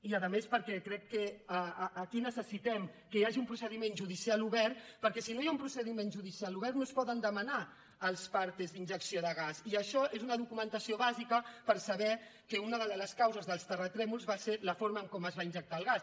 i a més perquè crec que aquí necessitem que hi hagi un procediment judicial obert perquè si no hi ha un procediment judicial obert no es poden demanar els partesuna documentació bàsica per saber que una de les causes dels terratrèmols va ser la forma com es va injectar el gas